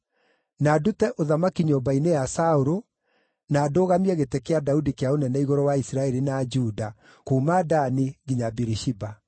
na ndute ũthamaki nyũmba-inĩ ya Saũlũ, na ndũgamie gĩtĩ kĩa Daudi kĩa ũnene igũrũ wa Isiraeli na Juda, kuuma Dani nginya Birishiba.”